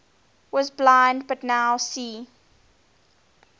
was blind but now see